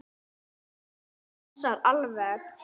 Þetta passar alveg.